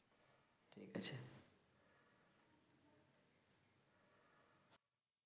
ঠিক আছে